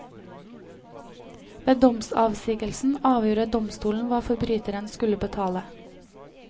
Ved domsavsigelsen avgjorde domstolen hva forbryteren skulle betale.